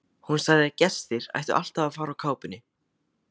Hún sagði að gestir ættu alltaf að fara úr kápunni.